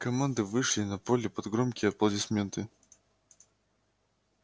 команды вышли на поле под громкие аплодисменты